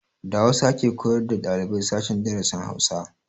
Da hausa ake koyar da ɗaliban sashen darasin Hausa